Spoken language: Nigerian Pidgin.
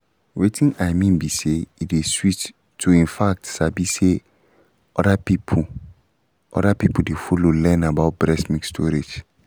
wetin i mean be say e dey sweet to in fact sabi say other people other people dey follow learn about breast milk storage